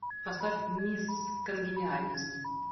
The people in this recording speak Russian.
поставь мисс конгениальность